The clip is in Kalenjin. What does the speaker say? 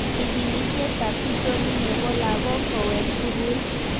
Chig'ilishet ab pitonin nepo lakok kowek sukul